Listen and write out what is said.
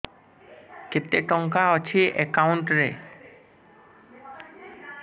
କେତେ ଟଙ୍କା ଅଛି ଏକାଉଣ୍ଟ୍ ରେ